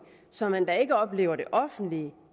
så man da ikke oplever det offentlige